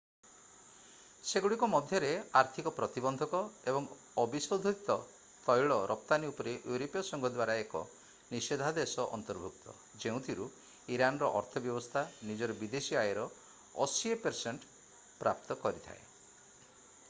ସେଗୁଡ଼ିକ ମଧ୍ୟରେ ଆର୍ଥିକ ପ୍ରତିବନ୍ଧକ ଏବଂ ଅବିଶୋଧିତ ତୈଳ ରପ୍ତାନି ଉପରେ ୟୁରୋପୀୟ ସଂଘ ଦ୍ଵାରା ଏକ ନିଷେଧାଦେଶ ଅନ୍ତର୍ଭୁକ୍ତ ଯେଉଁଥିରୁ ଇରାନର ଅର୍ଥ ବ୍ୟବସ୍ଥା ନିଜର ବିଦେଶୀ ଆୟର 80% ପ୍ରାପ୍ତ କରିଥାଏ